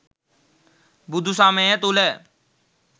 බුදු සමය තුළ